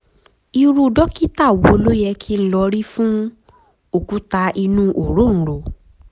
irú dókítà wo ló yẹ kí n lọ rí fún òkúta inú òróǹro?